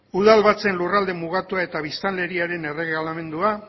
udalbatzen lurralde mugatua eta biztanleriaren erregelamendua